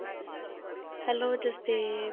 hello Jasdev